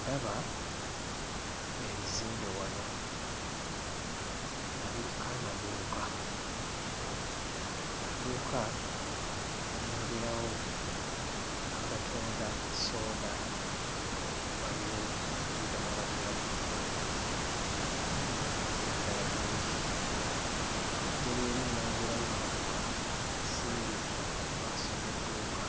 Ndaba ebizimbe wano nga biriko amaduuka. Amaduuka nnengerawo agatunda sooda. Waliwo ebidomola bya butto n'ebintuntu ebirala bingi. Waggulu eri nnengerayo emmotoka esimbye mu maaso g'edduuka,